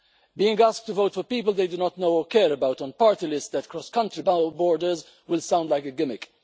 Being asked to vote for people they do not know or care about on party lists that cross country borders will sound like a gimmick.